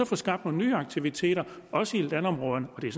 få skabt nogle nye aktiviteter også i landområderne og det er